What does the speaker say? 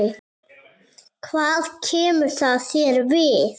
Hvað kemur það þér við?